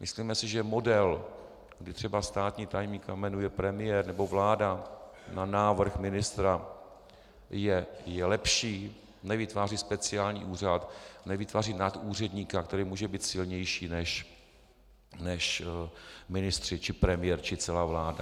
Myslíme si, že model, kdy třeba státního tajemníka jmenuje premiér nebo vláda na návrh ministra, je lepší, nevytváří speciální úřad, nevytváří nadúředníka, který může být silnější než ministři či premiér či celá vláda.